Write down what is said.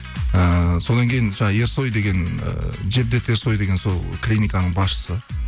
ііі содан кейін жаңағы ерсой деген ы джевтет ерсой деген сол клиниканың басшысы